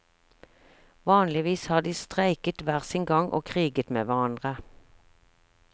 Vanligvis har de streiket hver sin gang og kriget med hverandre.